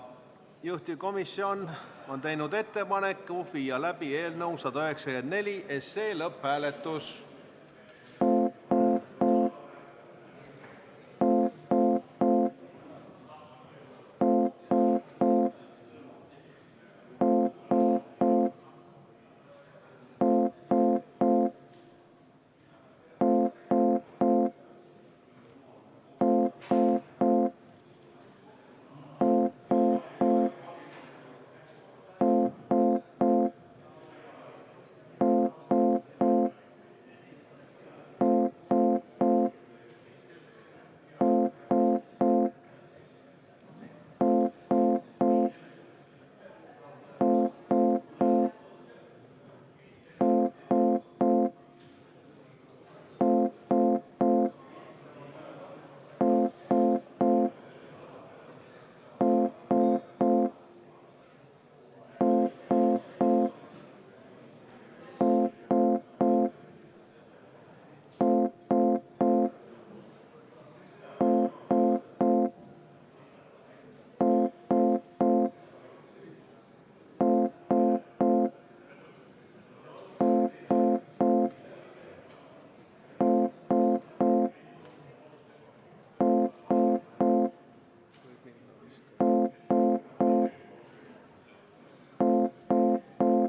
Juhtivkomisjon on teinud ettepaneku viia läbi eelnõu 194 lõpphääletus.